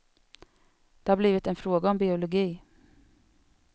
Det har blivit en fråga om biologi.